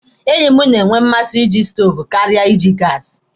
Enyi m nwere mmasị na iji stoovu karịa iji gaasi.